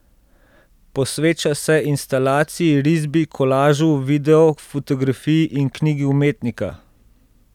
Posveča se instalaciji, risbi, kolažu, videu, fotografiji in knjigi umetnika.